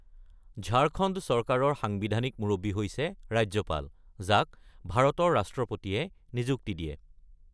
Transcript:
ঝাড়খণ্ড চৰকাৰৰ সাংবিধানিক মুৰব্বী হৈছে ৰাজ্যপাল, যাক ভাৰতৰ ৰাষ্ট্ৰপতিয়ে নিযুক্তি দিয়ে।